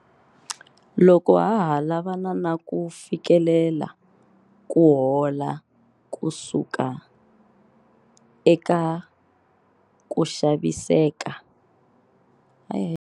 Loko ha ha lavana na ku fikelela ku hola ku suka eka ku vaviseka ka rixaka, a hi yimeni hi va xilo xin'we.